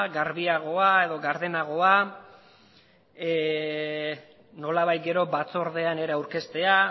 garbiagoa edo gardenagoa nolabait gero batzordean ere aurkeztea